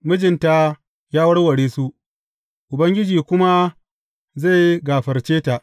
Mijinta ya warware su, Ubangiji kuma zai gafarce ta.